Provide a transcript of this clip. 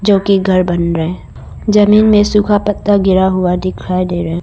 जो कि घर बन रहे जमीन में सूखा पत्ता गिरा हुआ दिखाई दे रहा है।